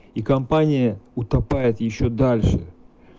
и компания утопает ещё дальше